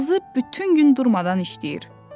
Ağzı bütün gün durmadan işləyir.